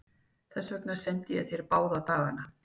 Þess vegna sendi ég þér báða dagana.